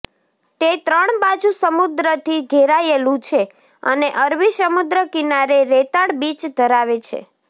તે ત્રણ બાજુ સમુદ્રથી ઘેરાયેલું છે અને અરબી સમુદ્ર કિનારે રેતાળ બીચ ધરાવે છે